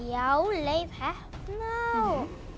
já Leif heppna